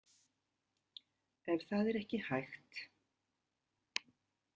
Ef það er ekki hægt.